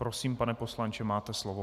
Prosím, pane poslanče, máte slovo.